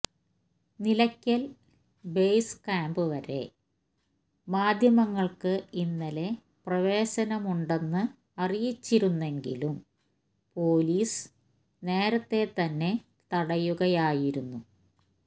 Nilakkal base camp വരെ മാധ്യമങ്ങള്ക്ക് ഇന്നലെ പ്രവേശനമുണ്ടെന്ന് അറിയിച്ചിരുന്നെങ്കിലും പോലീസ് നേരത്തെ തന്നെ തടയുകയായിരുന്നു